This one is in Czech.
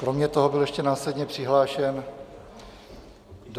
Kromě toho byl ještě následně přihlášen do...